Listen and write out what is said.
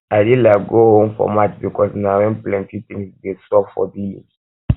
i dey like go home for march because na when plenty things dey sup for village um